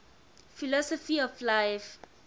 philosophy of life